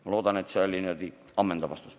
Ma loodan, et see vastus oli ammendav.